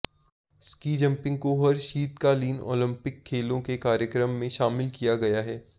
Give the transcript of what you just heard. ski jumping को हर शीतकालीन ओलंपिक खेलों के कार्यक्रम में शामिल किया गया है